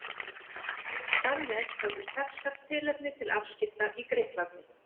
Þar með höfðu Persar tilefni til afskipta í Grikklandi.